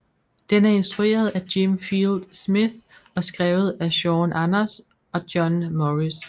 Den er instrueret af Jim Field Smith og skrevet af Sean Anders og John Morris